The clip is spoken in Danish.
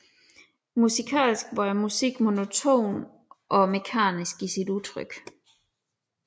Musikalsk var musikken monoton og mekanisk i sit udtryk